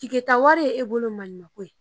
tawari ye e bolo maa ɲumanko ye